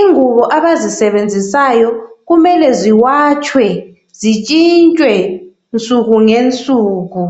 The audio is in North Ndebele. Ingubo abazisebenzisayo kumele ziwatshwe zitshintshwe nsuku ngensuku.